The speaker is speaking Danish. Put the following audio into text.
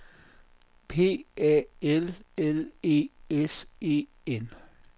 P A L L E S E N